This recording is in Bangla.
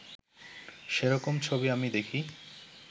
সেরকম ছবি আমি দেখি